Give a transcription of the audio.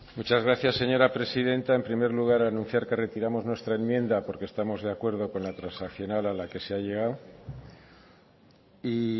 muchas gracias señora presidenta en primer lugar anunciar que retiramos nuestra enmienda porque estamos de acuerdo con la transaccional a la que se ha llegado y